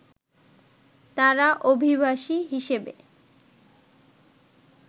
তারা অভিবাসী হিসেবে